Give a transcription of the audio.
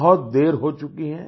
बहुत देर हो चुकी है